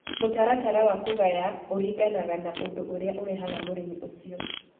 Mũtaratara wa kũgaya ũringanaga na ũndũ ũrĩa ũrehaga mũrimũ ũcio.